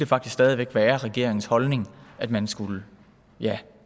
faktisk stadig væk være regeringens holdning at man skulle